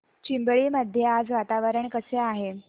चिंबळी मध्ये आज वातावरण कसे आहे